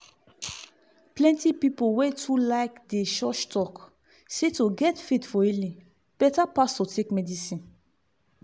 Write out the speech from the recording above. plenty pipu wey too like dey church talk say to get faith for healing better pass to take medicine.